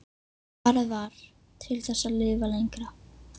Svarið var: Til þess að lifa lengra.